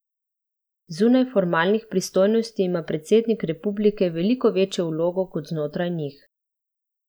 Zunaj formalnih pristojnosti ima predsednik republike veliko večjo vlogo kot znotraj njih.